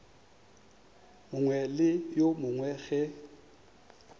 mongwe le yo mongwe ge